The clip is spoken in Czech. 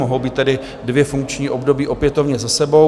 Mohou být tedy dvě funkční období opětovně za sebou.